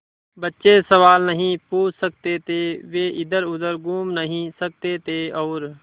बच्चे सवाल नहीं पूछ सकते थे वे इधरउधर घूम नहीं सकते थे और